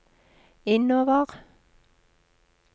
innover